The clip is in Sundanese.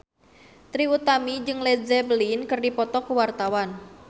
Trie Utami jeung Led Zeppelin keur dipoto ku wartawan